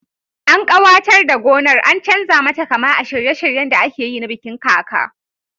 An kawatar da gonar an chanza mata kama a shirye shiryen da akeyi na bikin kaka